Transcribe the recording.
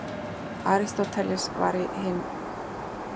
aristóteles var einn mesti heimspekingur og vísindamaður fornaldar